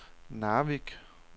Narvik